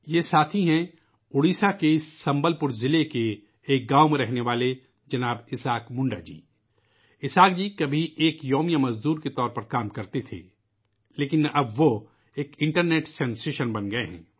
یہ ساتھی ہیں ، اڈیشہ کے سنبل پور ضلعے کے ایک گاؤں میں رہنے والے جناب اسحاق منڈا جی ، جو کبھی ایک دیہاڑی مزدور کے طور پر کام کرتے تھے لیکن اب وہ ایک انٹرنیٹ سنسیشن بن گئے ہیں